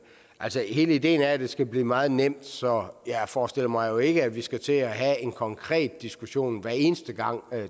altså hele ideen er at det skal blive meget nemt så jeg forestiller mig jo ikke at vi skal til at have en konkret diskussion hver eneste gang